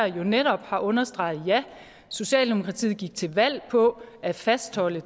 jo netop har understreget at socialdemokratiet gik til valg på at fastholde